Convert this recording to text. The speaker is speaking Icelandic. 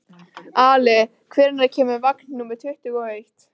Ali, hvenær kemur vagn númer tuttugu og eitt?